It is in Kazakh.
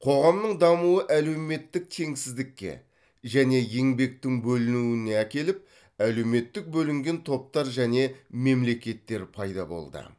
қоғамның дамуы әлеуметтік теңсіздікке және еңбектің бөлінуіне әкеліп әлеуметтік бөлінген топтар және мемлекеттер пайда болды